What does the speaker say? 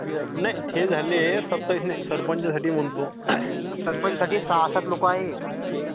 नाही हे झाले सत्तावीस. सरपंचासाठी म्हणतो.